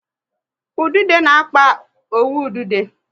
Ududo